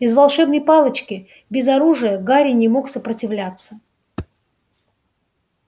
без волшебной палочки без оружия гарри не мог сопротивляться